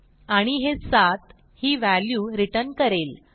आणि हे 7 ही व्हॅल्यू रिटर्न करेल